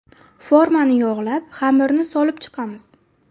Formani yog‘lab, xamirni solib chiqamiz.